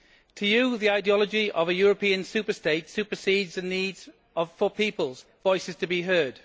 To you the ideology of a European superstate supersedes the need for people's voices to be heard.